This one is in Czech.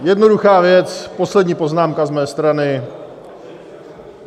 Jednoduchá věc, poslední poznámka z mojí strany.